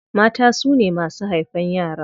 Mata su ne masu haifan yara.